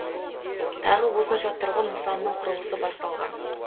тағы осынша тұрғын нысанның құрылысы басталған